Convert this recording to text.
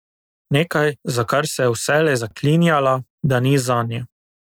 Nekaj, za kar se je vselej zaklinjala, da ni zanjo.